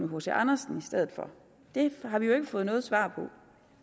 hc andersen i stedet for det har vi ikke fået noget svar på